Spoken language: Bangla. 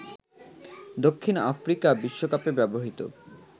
দক্ষিণ আফ্রিকা বিশ্বকাপে ব্যবহৃত